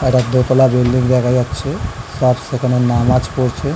একটা দোতলা বিল্ডিং দেখা যাচ্ছে সব সেখানে নামাজ পড়ছে।